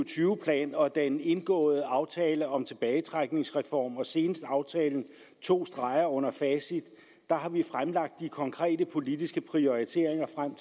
tyve plan og den indgåede aftale om tilbagetrækningsreform og senest aftalen to streger under facit har vi fremlagt de konkrete politiske prioriteringer frem